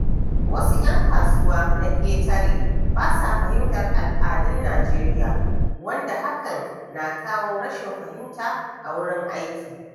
Wasu ‘yan kasuwa na ƙetare ba sa fahimtar al’adun Najeriya, wanda hakan na kawo rashin fahimta a wurin aiki.